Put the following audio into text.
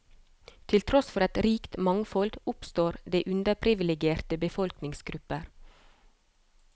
Til tross for et rikt mangfold, oppstår det underprivilegerte befolkningsgrupper.